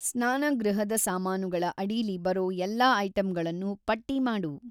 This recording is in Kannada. ಸ್ನಾನಗೃಹದ ಸಾಮಾನುಗಳ ಅಡೀಲಿ ಬರೋ ಎಲ್ಲಾ ಐಟಂಗಳನ್ನೂ ಪಟ್ಟಿ ಮಾಡು.